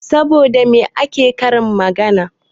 Saboda me ake karin magana?